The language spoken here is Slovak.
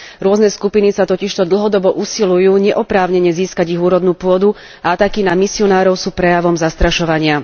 Rôzne skupiny sa totižto dlhodobo usilujú neoprávnene získať ich úrodnú pôdu a ataky na misionárov sú prejavmi zastrašovania.